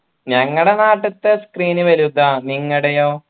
ഞങ്ങടെ നാട്ടിത്തെ screen വലുതാ നിങ്ങടെയോ